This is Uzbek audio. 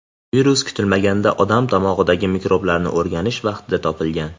Virus kutilmaganda odam tomog‘idagi mikroblarni o‘rganish vaqtida topilgan.